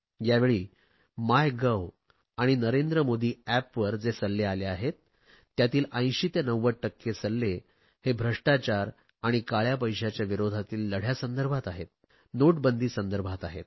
यावेळी my gov आणि नरेंद्र मोदी एपवर जे सल्ले आले आहेत त्यातील 80 ते 90 टक्के सल्ले भ्रष्टाचार आणि काळया पैशाच्या विरोधातील लढ्यासंदर्भात आहेत नोटबंदी संदर्भात आहेत